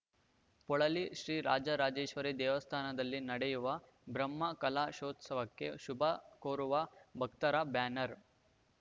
ಪೊಳಲಿ ಶ್ರೀ ರಾಜರಾಜೇಶ್ವರಿ ದೇವಸ್ಥಾನದಲ್ಲಿ ನಡೆಯುವ ಬ್ರಹ್ಮಕಲಶೋತ್ಸವಕ್ಕೆ ಶುಭ ಕೋರುವ ಭಕ್ತರ ಬ್ಯಾನರ್